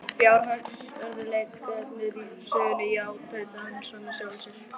Fjárhagsörðugleikarnir úr sögunni, já- tautaði hann svo með sjálfum sér.